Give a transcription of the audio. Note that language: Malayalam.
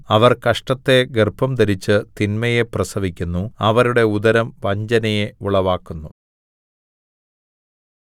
അവർ കഷ്ടത്തെ ഗർഭംധരിച്ച് തിന്മയെ പ്രസവിക്കുന്നു അവരുടെ ഉദരം വഞ്ചനയെ ഉളവാക്കുന്നു